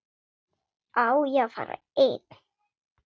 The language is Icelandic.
Á ég að fara einn?